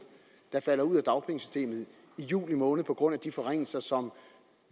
der falder ud af dagpengesystemet i juli måned på grund af de forringelser som